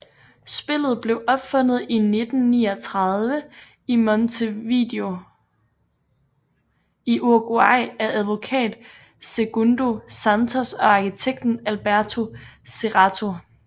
Spillet blev opfundet 1939 i Montevideo i Uruguay af advokat Segundo Santos og arkitekten Alberto Serrato